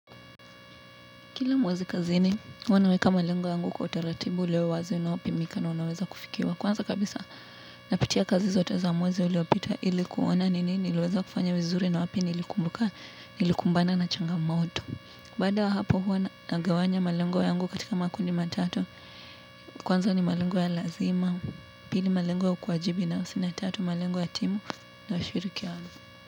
Kila mwezi kazini, uwa naweka malengo yangu kwa utaratibu ule wa wazi unaopimika na unaweza kufikiwa. Kwanza kabisa napitia kazi zote za mwezi uliopita ili kuona nini iliweza kufanya vizuri na wapi niilikumbuka, nilikumbana na changamoto. Baada ya hapo huwa nagawanya malengo yangu katika makundi matatu. Kwanza ni malengo ya lazima, pili malengo ya ukwajibi na usina tatu malengo ya timu na ushirikiano.